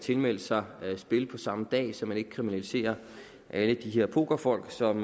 tilmelde sig spil på samme dag så man ikke kriminaliserer alle de her pokerfolk som